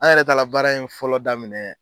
An yɛrɛ taara baara in fɔlɔ daminɛ.